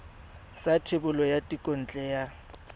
sa thebolo ya thekontle ya